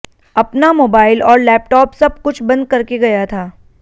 अपना मोबाइल और लेपटॉप सब कुछ बंद करके गया था